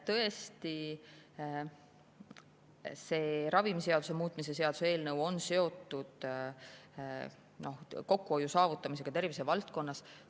Tõesti, ravimiseaduse muutmise seaduse eelnõu on seotud kokkuhoiu saavutamisega tervisevaldkonnas.